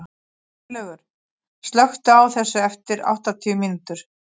Sveinlaugur, slökktu á þessu eftir áttatíu mínútur.